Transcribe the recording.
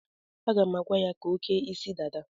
Aga m agwa ya ka o kee isi dada.